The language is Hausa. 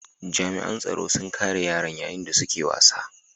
Jami'an tsaro sun kare yaran yayin da suke wasa.